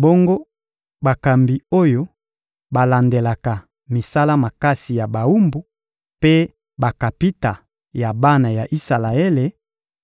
Bongo bakambi oyo balandelaka misala makasi ya bawumbu mpe bakapita ya bana ya Isalaele